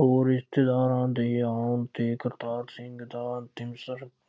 ਹੋਰ ਰਿਸ਼ਤੇਦਾਰਾਂ ਦੇ ਆਉਣ ਤੇ ਕਰਤਾਰ ਸਿੰਘ ਦਾ